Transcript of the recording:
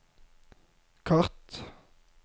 kart